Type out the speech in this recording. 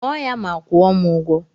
Ṅụọ ya ma kwuo m ụgwọ